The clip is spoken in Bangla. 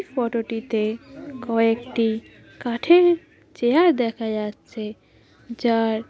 ফটো - টিতে কয়েকটি কাঠের চেয়ার দেখা যাচ্ছে যার--